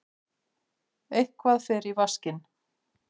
Eitthvað fer í vaskinn